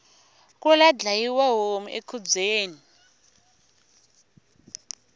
kula dyayiwa homu ekhubyeni